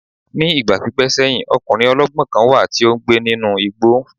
Ní ìgbà pípẹ́ sẹ́yìn, ọkùnrin ọlọ́gbọ́n kan wà tí ó ń gbé nínú igbó